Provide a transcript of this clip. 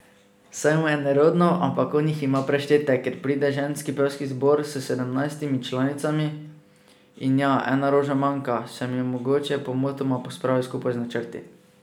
Saj mu je nerodno, ampak on jih ima preštete, ker pride ženski pevski zbor s sedemnajstimi članicami, in ja, ena roža manjka, sem jo mogoče pomotoma pospravil skupaj z načrti?